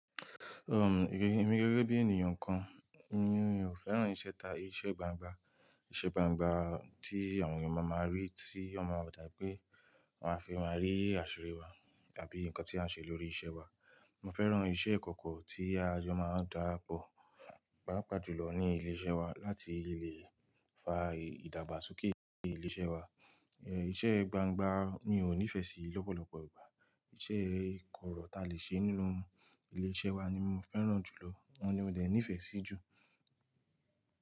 Èmi gẹ́gẹ́ bí ènìyàn kan, mí ò fẹ́ràn ìṣẹ̀ta iṣẹ́ gbangba. Iṣẹ́ gbangba tí àwọn ènìyàn máa máa rí tí ó máa dà pé wọ́n a fi máa rí àṣírí wa àbí nǹkan tí à ń ṣe lórí iṣẹ́ wa. Mo fẹ́ràn iṣẹ́ ìkọ́kọ́ tí ajo máa darapọ̀, papà jùlọ ní ilé-iṣẹ́ wa láti lè fa ìdàgbàsókè ilé-iṣẹ́ wa. Iṣẹ́ gbangba mi ò ní ìfẹ́ sí lọ́pọ̀lọpọ̀ ìgbà. Iṣẹ́ ìkọ́rọ̀ ta lè ṣe nínú ilé-iṣẹ́ wa ni mo fẹ́ràn jù lọ, ọ́un ni mo dẹ̀ ní ìfẹ́ sí jù.